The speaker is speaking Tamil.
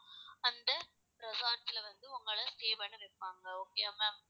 அந்த resorts ல வந்து உங்கள stay பண்ண வைப்பாங்க okay வா ma'am